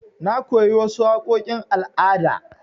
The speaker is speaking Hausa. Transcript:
Na koyi wasu waƙoƙin al'ada.